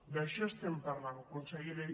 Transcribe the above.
d’això estem parlant consellera